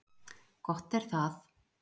Gott er það.